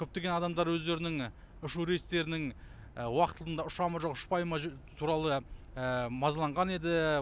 көптеген адамдар өздерінің ұшу рейстерінің уақытында ұша ма жоқ ұшпай ма туралы мазаланған еді